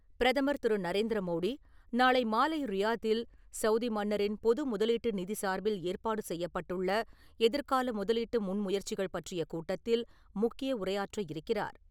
பிரதமர் திரு. நரேந்திர மோடி, நாளை மாலை ரியாத்தில் சவுதி மன்னரின் பொது முதலீட்டு நிதி சார்பில் ஏற்பாடு செய்யப்பட்டுள்ள, எதிர்கால முதலீட்டு முன் முயற்சிகள் பற்றிய கூட்டத்தில் முக்கிய உரையாற்ற இருக்கிறார்.